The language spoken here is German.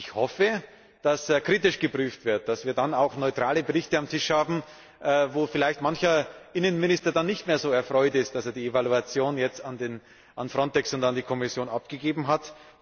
Ich hoffe, dass kritisch geprüft wird, damit wir dann auch neutrale Berichte auf dem Tisch haben, wo vielleicht mancher Innenminister nicht mehr so erfreut ist, dass er die Evaluation jetzt an FRONTEX und an die Kommission abgegeben hat.